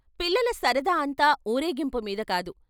పిల్లల సరదా అంతా వూరేగింపుమీద కాదు.